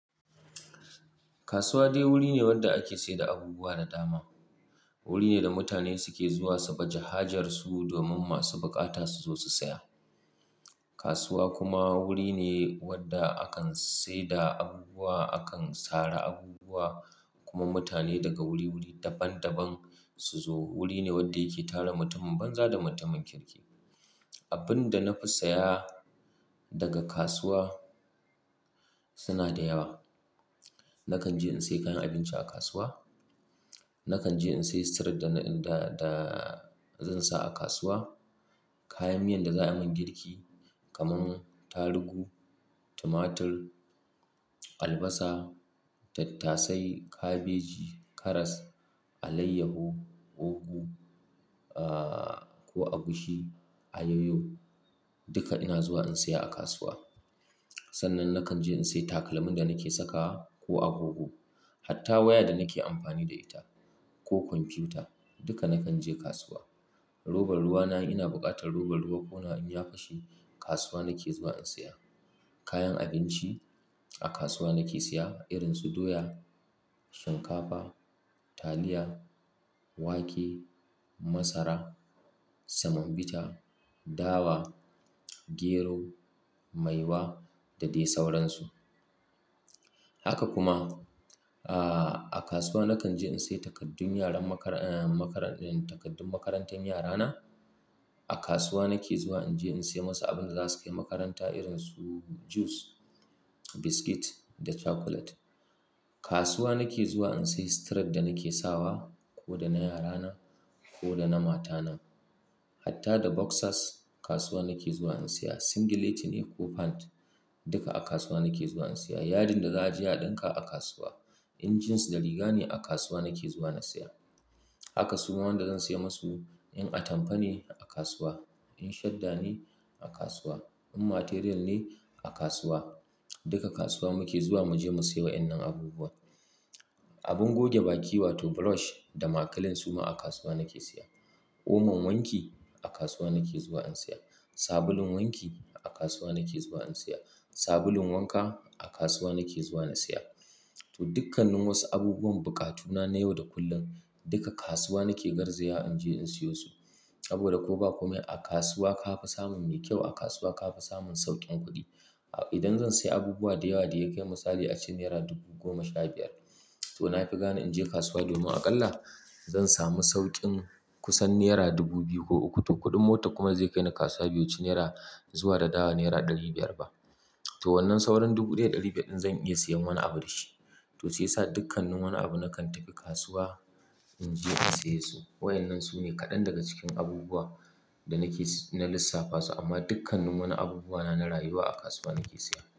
Kasuwa dai wuri ne wanda ake saida abubuwa da dama. Wuri ne da mutane suke zuwa saboda hajarsu domin masu bukata su zo su saya. Kasuwa kuma wuri ne wadda akan saida abubuwa, akan sare abubuwa kuma mutane daga wuri-wuri daban-daban su zo. Wuri ne wadda yake tara mutumin banza da mutumin kirki. Abinda na fi saya daga kasuwa suna da yawa. Nakan je in sayi kayan abinci a kasuwa. Nakan je in sayi suturar da zan sa a kasuwa. Kayan miyan da za a yi mun girki kamar tarugu, tumatir, albasa, tattasai, kabeji, karas, alayyahu, ugu, ah, ko agushi, ayoyo duka ina zuwa in saya a kasuwa. Sannan nakan je in sayi takalmin da nake sakawa ko agogo. Hatta waya da nake amfani da ita ko kwamfuta duka nakan je kasuwa. Robar ruwa na in ina buƙatar robar ruwa ko wani abu ya fashe kasuwa nake zuwa in saya. Kayan abinci a kasuwa nake saya irin su doya, shinkafa, taliya, wake, masara, semon bita, dawa, gero, maiwa da dai sauransu. Haka kuma, ah, a kasuwa nakan je in sayi takaddun yaran makar-- ah, makar-- takaddun makarantar yarana. A kasuwa nake zuwa in je in saya masu abin za su kai makaranta irin su jus, biskit da cakulet. Kasuwa nake zuwa in sayi sitirat da nake sawa ko da na yarana ko da na matana. Hatta da boxas kasuwa nake zuwa in saya. Singileti ne ko pant duka a kasuwa nake zuwa in saya. Yadin da za a je a ɗinka a kasuwa. In jins da riga ne a kasuwa nake zuwa na saya. Haka su ma wanda zan saya masu in atamfa ne a kasuwa, in shadda ne a kasuwa, in material ne a kasuwa duka kasuwa muke zuwa mu je mu sayi wa'innan abubuwa. Abin goge baki wato brush da makalin su ma a kasuwa nake saya. Oman wanki a kasuwa nake zuwa in saya. Sabulun wanki a kasuwa nake zuwa in saya. Sabulun wanka a kasuwa nake zuwa na saya. To, dukkannin wasu abubuwan bukatuna na yau da kullum duka kasuwa nake garziya in je in siyo su. sAboda ko ba komai a kasuwa ka fi samun mai kyau. A kasuwa ka fi samun sauƙin kuɗi. Idan zan sayi abubuwa da yawa da ya kai misali a ce naira dubu goma sha biyar. To na fi gane in je kasuwa domin aƙalla zan sami sauƙin kusan naira dubu biyu ko uku. To, kuɗin mota kuma zai kai ni kasuwa bai wu ci naira zuwa da dawowa naira ɗari biyar ba. To, wannan sauran dubu ɗaya da ɗari biyar ɗin zan iya siyan wani abu da shi. To shiyasa dukkannin wani abu nakan tafi kasuwa in je in saye su. Wa'innan su ne kaɗan daga cikin abubuwa da nake si-- na lissafa su amma dukkannin wani abubuwa na na rayuwa a kasuwa nake saya.